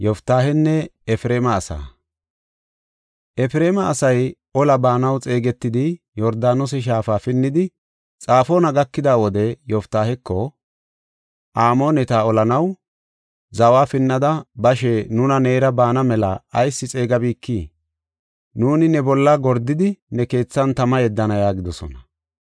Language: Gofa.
Efreema asay ola baanaw xeegetidi, Yordaanose shaafa pinnidi, Xafoona gakida wode Yoftaaheko, “Amooneta olanaw zawa pinnada bashe nuuni neera baana mela ayis xeegabikii? Nuuni ne bolla gordidi ne keethan tama yeddana” yaagidosona.